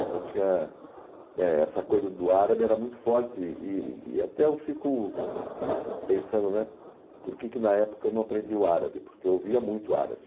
então tinha né Essa coisa do árabe era muito forte e e até eu fico pensando por que que na época eu não aprendi o árabe, porque eu ouvia muito o árabe.